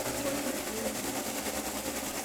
Kagoil eut